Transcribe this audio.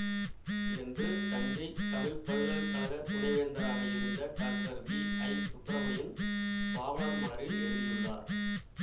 என்று தஞ்சை தமிழ் பல்கலை கழக துணை வேந்தராக இருந்த டாக்டர் விஐசுப்பிரமணியன் பாவலர்மலரில் எழுதியுள்ளார்